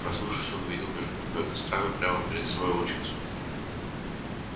проснувшись он увидел между двумя кострами прямо перед собой волчицу